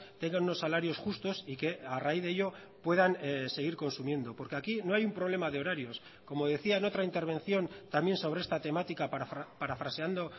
tengan unos salarios justos y que a raíz de ello puedan seguir consumiendo porque aquí no hay un problema de horarios como decía en otra intervención también sobre esta temática parafraseando